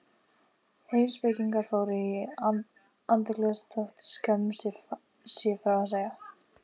Heimspekingar fóru í andaglös þótt skömm sé frá að segja.